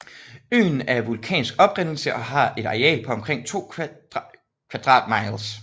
Øen er af vulkansk oprindelse og har et areal på omkring 2 kvadrat miles